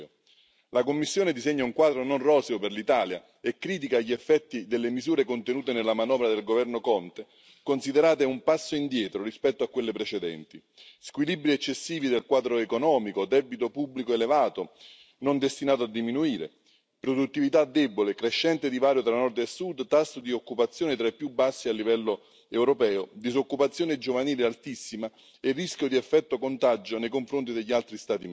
La Commissione disegna un quadro non roseo per l'Italia e critica gli effetti delle misure contenute nella manovra del Governo Conte, considerate un passo indietro rispetto a quelle precedenti squilibri eccessivi del quadro economico, debito pubblico elevato, non destinato a diminuire, produttività debole, crescente divario tra Nord e Sud, tasso di occupazione tra i più bassi a livello europeo, disoccupazione giovanile altissima e rischio di effetto contagio nei confronti degli altri Stati membri.